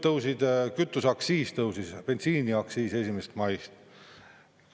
Tõusis kütuseaktsiis, tõusis bensiiniaktsiis 1. maist.